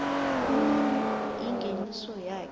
umuntu ingeniso yakhe